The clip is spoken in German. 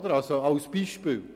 Das ist ein Beispiel.